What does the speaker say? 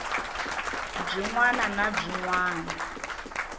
byin wana na byin wana